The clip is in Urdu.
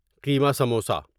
کیما سموسا